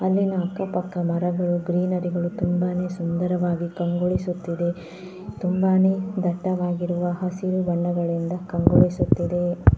ಅಲ್ಲಿನ ಅಕ್ಕ ಪಕ್ಕ ಮರಗಳು ಗ್ರೀನರಿ ಗಳು ತುಂಬಾನೇ ಸುಂದರವಾಗಿ ಕಂಗೊಳಿಸುತ್ತಿದೆ ತುಂಬಾನೇ ದಟ್ಟವಾಗಿರಯವ ಹಸಿರು ಬಣ್ಣಗಳಿಂದ ಕಂಗೊಳಿಸುತ್ತಿದೆ .